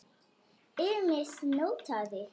Ýmist notaði